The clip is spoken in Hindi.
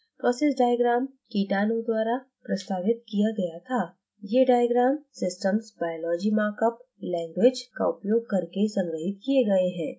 process diagram kitano द्वारा प्रस्तावित किया गया था ये diagram systems biology markup language sbml का उपयोग करके संग्रहित the गए हैं